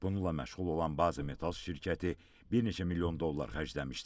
Bununla məşğul olan Base Metals şirkəti bir neçə milyon dollar xərcləmişdi.